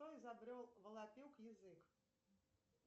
кто изобрел волопек язык